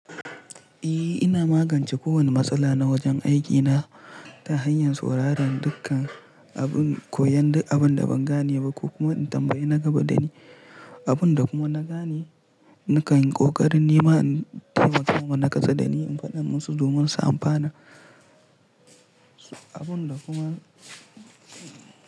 Eh ina magance ko wani matsala na wajen aiki na ta hanyar sauraron dukkan abin, koyan abun da ban gane ba ko kuma in tambayi na gaba dani. Abun da kuma na gane nakan yi ƙoƙarin nema in taimaka wa na kusa dani, in faɗa musu domin su amfana. Abun da kuma.